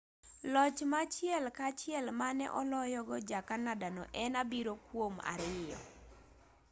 loch ma achiel ka achiel mane oloyogo ja-canada no en 7-2